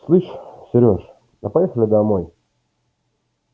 слышь серёж а поехали домой